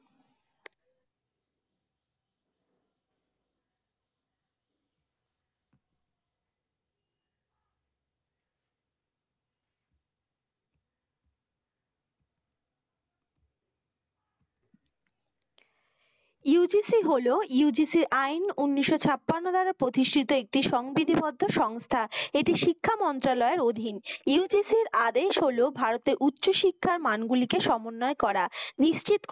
UGC হল UGC আইন উনিশও ছাপ্পান্ন ধারা প্রতিষ্ঠিত একটি সংবিধি বদ্ধ সংস্থা। এটি শিক্ষা মন্ত্রালয়ের অধীন। UGC ইর আদেশ হল ভারতের উচ্চশিক্ষার মান গুলি কে সমন্বয় করা, নিশ্চিত